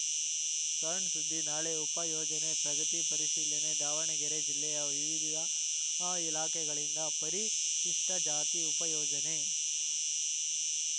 ಸಣ್‌ ಸುದ್ದಿ ನಾಳೆ ಉಪ ಯೋಜನೆ ಪ್ರಗತಿ ಪರಿಶೀಲನೆ ದಾವಣಗೆರೆ ಜಿಲ್ಲೆಯ ವಿವಿಧ ಇಲಾಖೆಗಳಿಂದ ಪರಿಶಿಷ್ಟಜಾತಿ ಉಪ ಯೋಜನೆ